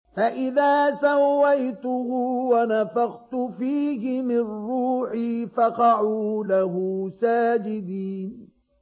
فَإِذَا سَوَّيْتُهُ وَنَفَخْتُ فِيهِ مِن رُّوحِي فَقَعُوا لَهُ سَاجِدِينَ